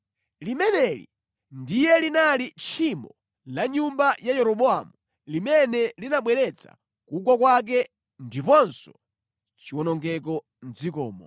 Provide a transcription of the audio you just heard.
Limeneli ndiye linali tchimo la nyumba ya Yeroboamu limene linabweretsa kugwa kwake ndiponso chiwonongeko mʼdzikomo.